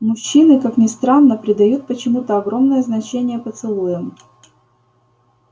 мужчины как ни странно придают почему-то огромное значение поцелуям